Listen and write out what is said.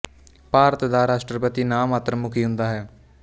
ਭਾਰਤ ਦਾ ਰਾਸ਼ਟਰਪਤੀ ਨਾ ਮਾਤਰ ਮੁਖੀ ਹੁੰਦਾ ਹੈ